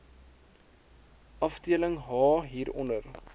afdeling h hieronder